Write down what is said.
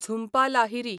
Jhumpa Lahiri